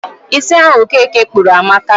Isi ahu okeke kpuru amaka